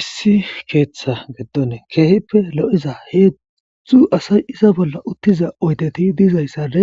issi keeththa geddon keehippe lo7iza heedzdzdzu asay isa bolla uttiza oydeti diizayssade